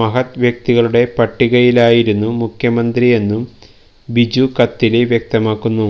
മഹദ് വ്യക്തികളുടെ പട്ടികയിലായിരുന്നു മുഖ്യമന്ത്രി എന്നും ബിജു കത്തില് വ്യക്തമാക്കുന്നു